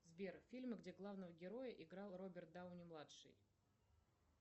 сбер фильмы где главного героя играл роберт дауни младший